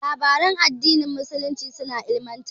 Labaran addinin musulunci suna ilimantarwa.